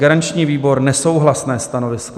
Garanční výbor: nesouhlasné stanovisko.